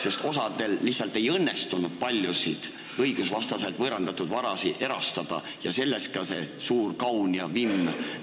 Ent jah, osal lihtsalt ei õnnestunud õigusvastaselt võõrandatud vara erastada ja sellest ka see suur vimm.